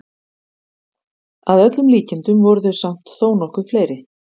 Að öllum líkindum voru þau samt þó nokkuð fleiri.